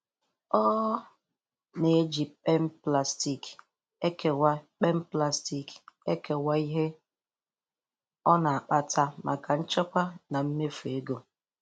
ỌỌ na-eji kpem plastic ekewa kpem plastic ekewa ihe o na-akpata maka nchekwa na mmefu ego.